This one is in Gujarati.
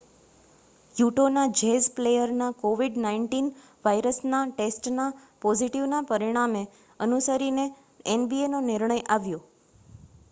યૂટૉના જૅઝ પ્લેયરના covid-19 વાયરસના ટેસ્ટના પોઝિટિવ પરિણામને અનુસરીને nbaનો નિર્ણય આવ્યો